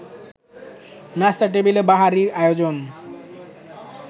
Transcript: নাস্তার টেবিলে বাহারী আয়োজন